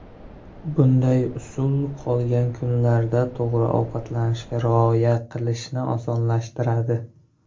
Bunday usul qolgan kunlar to‘g‘ri ovqatlanishga rioya qilishni osonlashtiradi.